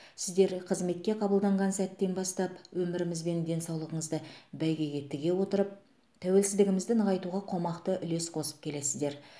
сіздер қызметке қабылданған сәттен бастап өміріңіз бен денсаулығыңызды бәйгеге тіге отырып тәуелсіздігімізді нығайтуға қомақты үлес қосып келесіздер